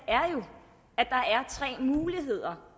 er tre muligheder